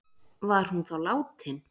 Var hún þá látin